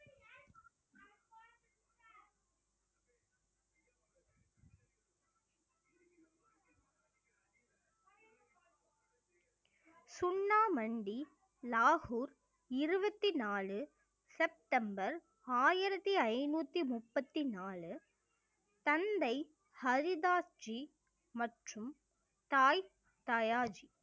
சுண்ணா மண்டி லாகூர் இருபத்தி நாலு செப்டம்பர் ஆயிரத்தி ஐந்நூத்தி முப்பத்தி நாலு தந்தை, ஹரிதாஸ் ஜி மற்றும் தாய் ஜி